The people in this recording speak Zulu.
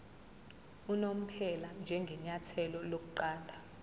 unomphela njengenyathelo lokuqala